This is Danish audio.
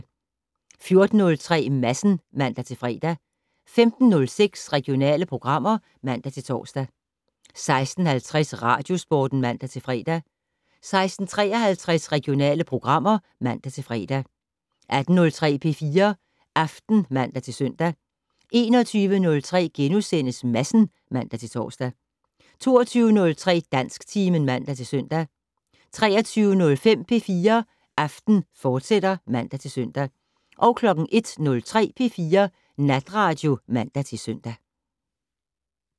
14:03: Madsen (man-fre) 15:06: Regionale programmer (man-tor) 16:50: Radiosporten (man-fre) 16:53: Regionale programmer (man-fre) 18:03: P4 Aften (man-søn) 21:03: Madsen *(man-tor) 22:03: Dansktimen (man-søn) 23:05: P4 Aften, fortsat (man-søn) 01:03: P4 Natradio (man-søn)